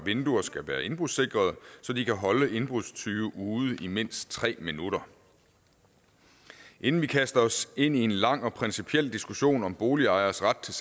vinduer skal være indbrudssikrede så de kan holde indbrudstyve ude i mindst tre minutter inden vi kaster os ind i en lang og principiel diskussion om boligejeres ret til